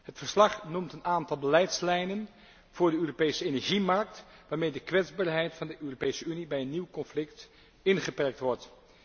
Het verslag noemt een aantal beleidslijnen voor de Europese energiemarkt waarmee de kwetsbaarheid van de Europese Unie bij een nieuw conflict ingeperkt wordt.